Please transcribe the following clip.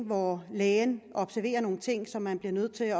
hvor lægen observerer nogle ting som man bliver nødt til